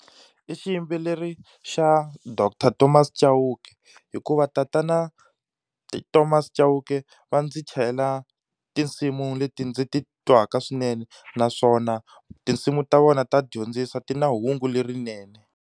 I xiyimbeleri xa doctor Thomas Chauke, hikuva tatana Thomas Chauke va ndzi chayela tinsimu leti ndzi titwaka swinene naswona tinsimu ta vona ta dyondzisa ti na hungu lerinene.